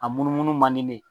A munu munu man di ne ye.